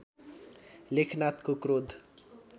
लेखनाथको क्रोध